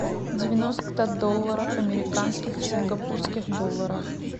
девяносто долларов американских в сингапурских долларах